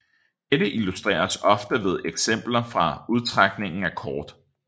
Dette illustreres ofte ved eksempler fra udtrækning af kort